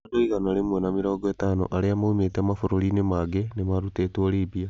Andũ igana rĩmwe na mĩrongo ĩtano arĩa moimĩte mabũrũri-inĩ mangĩ nĩ marutĩtwo Libya.